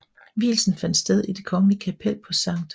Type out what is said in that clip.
Vielsen fandt sted i det kongelige kapel på St